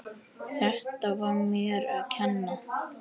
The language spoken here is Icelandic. Þetta var mér að kenna.